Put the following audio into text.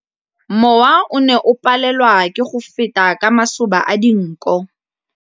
Mowa o ne o palelwa ke go feta ka masoba a dinko.